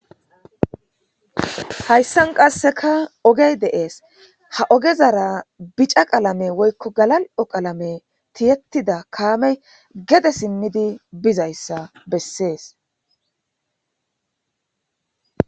Hayssan qasseka ogey de7ees ha ogezara bica qalame woyikko galali7o qalama tiyettida kaamey gede simmidi bizayssa bessees.